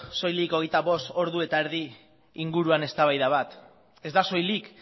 soilik hogeita bost ordu eta erdi inguruko eztabaida bat ez da soilik